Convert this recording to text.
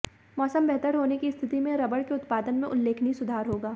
मौसम बेहतर होने की स्थिति में रबर के उत्पादन में उल्लेखनीय सुधार होगा